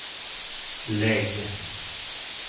lägg